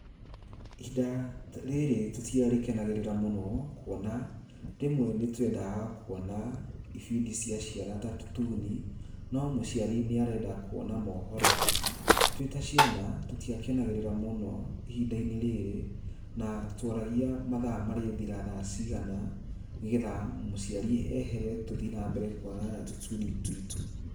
Ihinda rĩrĩ tũtia rĩ kenagĩrĩria mũno kuona rĩmwe nĩ twendaga kuona ibindi cia ciana ta tũtuni no mũciari nĩ arenda kuona mohoro, twĩ ta ciana tũtiakenagĩrĩra mũno ihinda rĩrĩ na tuoragia mathaa marĩthira thaa cigana nĩgetha mũciari ehere na tũthiĩ na mbere na kuona tũtuini tuitũ.